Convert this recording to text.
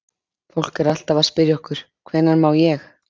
Fólk er alltaf að spyrja okkur: Hvenær má ég?